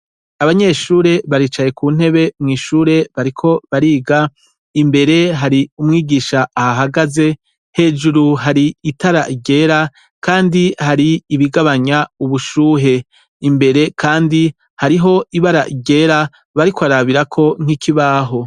Abanyeshure baricaye kuntebe mwishure bariko bariga imbere hari umwigisha ahahagaze hejuru hari itara ryera kandi hari ibigabanya ubushuhe imbere kandi hariho ibara ryera bariko bararabirako nkikibaho